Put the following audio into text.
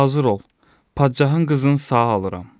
Hazır ol, padşahın qızın sağ alıram.